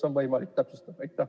Kas on võimalik täpsustada?